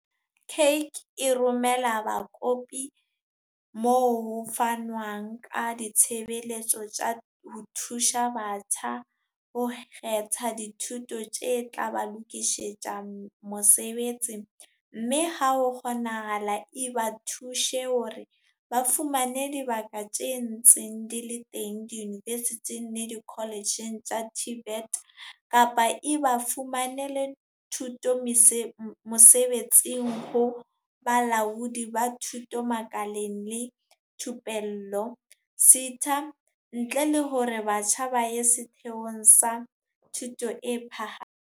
CACH e romela bakopi moo ho fanwang ka ditshebeletso tsa ho thusa batjha ho kgetha dithuto tse tla ba lokisetsa mosebetsi mme ha ho kgonahala, e ba thuse hore ba fumane dibaka tse ntseng di le teng diyunivesithing le dikoletjheng tsa TVET, kapa e ba fumanele thuto mosebetsing ho Bolaodi ba Thuto Makaleng le Thupello SETA, ntle le hore batjha ba ye setheong sa thuto e phaha.